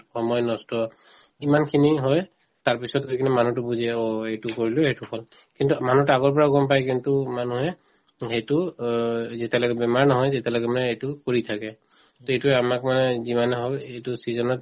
সময় নষ্ট ইমানখিনি হয় তাৰপিছত হৈ কিনে মানুহতো বুজে অ এইটো কৰিলো সেইটো কিন্তু মানুহতো আগৰ পৰা গম পাই কিন্তু মানুহে সেইটো অ যেতিয়ালৈকে বেমাৰ নহয় তেতিয়ালৈকে মানে এইটো কৰি থাকে to এইটোয়ে আমাক মানে যিমান হওক এইটো season ত